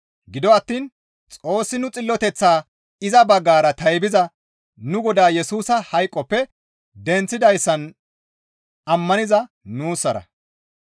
Gido attiin Xoossi nu xilloteththaa iza baggara taybiza nu Godaa Yesusa hayqoppe denththidayssan ammaniza nuussarakko.